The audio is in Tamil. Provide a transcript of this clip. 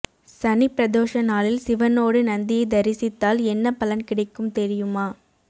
சனிப்பிரதோஷ நாளில் சிவனோடு நந்தியை தரிசித்தால் என்ன பலன் கிடைக்கும் தெரியுமா